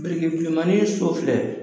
Birik bulemani sɔ filɛ